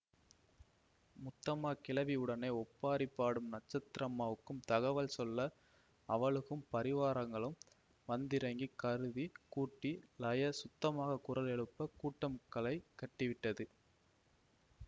முத்தம்மா கிழவி உடனே ஒப்பாரி பாடும் நட்சத்திரம்மாவுக்கு தகவல் சொல்ல அவளுகும் பரிவாரங்களும் வந்திறங்கி கருதி கூட்டி லய சுத்தமாக குரல் எழுப்ப கூட்டம் களை கட்டிவிட்டது